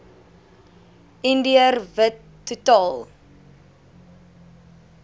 indiër wit totaal